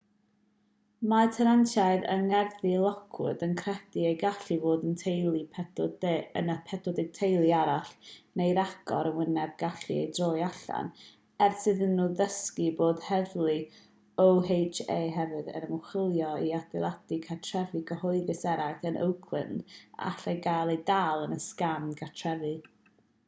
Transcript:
mae tenantiaid yng ngerddi lockwood yn credu y gallai fod yna 40 teulu arall neu ragor yn wynebu cael eu troi allan ers iddyn nhw ddysgu bod heddlu oha hefyd yn ymchwilio i adeiladau cartrefi cyhoeddus eraill yn oakland a allai gael eu dal yn y sgam gartrefi